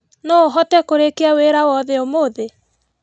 Noũhote kũrĩkia wĩra wothe ũmũthĩ?